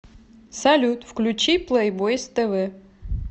салют включи плэйбойз тэ вэ